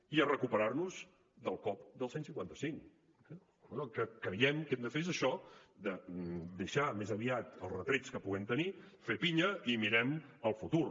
i a recuperar nos del cop del cent i cinquanta cinc eh per tant el que creiem que hem de fer és això deixar més aviat els retrets que puguem tenir fer pinya i mirem al futur